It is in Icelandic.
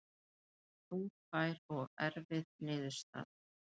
Þungbær og erfið niðurstaða